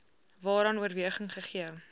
waaraan oorweging gegee